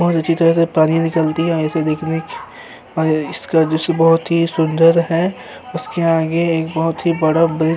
और अच्छी तरह से पानी निकालती है और इसको देखने पानी इसका जो सुबह होती है सुंदर है। उसके आगे एक बहोत ही बड़ा बिल्डिंग --